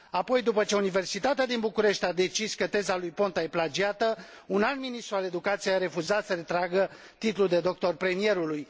Apoi, după ce Universitatea din București a decis că teza lui Ponta e plagiată, un alt ministru al educației a refuzat să retragă titlul de doctor al premierului.